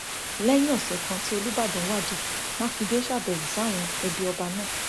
lẹyìn ọsẹ kan tí olùbàdàn wájà mákindè ṣàbẹwò sáwọn ẹbí ọba náà